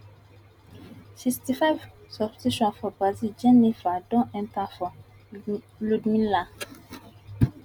sixty five substitution for brazil jheniffer Accepted enta for ludmila